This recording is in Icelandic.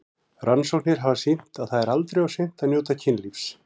Rannsóknir hafa sýnt að það er aldrei of seint að njóta kynlífs.